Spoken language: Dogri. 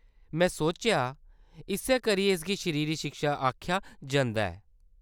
में सोचेआ इस्सै करियै इसगी शरीरी शिक्षा आखेआ जंदा ऐ।